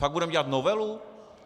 Fakt budeme dělat novelu?